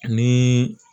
Ani